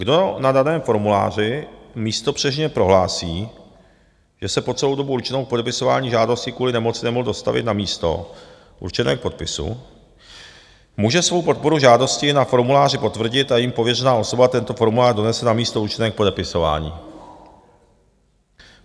Kdo na daném formuláři místopřísežně prohlásí, že se po celou dobu určenou k podepisování žádosti kvůli nemoci nemohl dostavit na místo určené k podpisu, může svou podporu žádosti na formuláři potvrdit a jím pověřená osoba tento formulář donese na místo určené k podepisování.